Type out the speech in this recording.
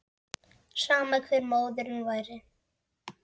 Sama hver móðirin væri.